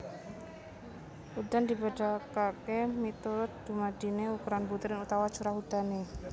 Udan dibedakaké miturut dumadiné ukuran butir utawa curah udané